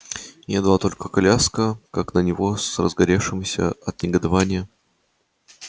едва только коляска как на него с разгоревшимися от негодования